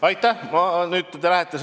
Aitäh!